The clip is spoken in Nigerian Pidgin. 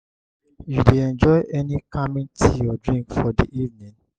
you dey enjoy any calming tea or drink for di evening?